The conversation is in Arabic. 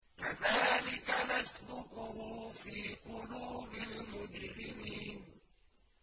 كَذَٰلِكَ نَسْلُكُهُ فِي قُلُوبِ الْمُجْرِمِينَ